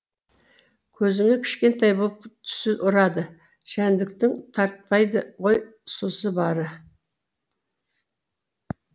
көзіңе кішкентай боп түсі ұрады жәндіктің тартпайды ғой сұсы бары